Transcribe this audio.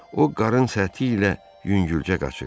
O qarın səthi ilə yüngülcə qaçır.